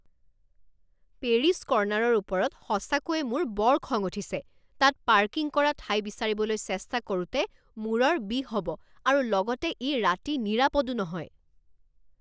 Paris কৰ্নাৰৰ ওপৰত সঁচাকৈয়ে মোৰ বৰ খং উঠিছে। তাত পাৰ্কিং কৰা ঠাই বিচাৰিবলৈ চেষ্টা কৰোঁতে মূৰৰ বিষ হ'ব আৰু লগতে ই ৰাতি নিৰাপদো নহয়।